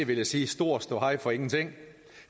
vil jeg sige stor ståhej for ingenting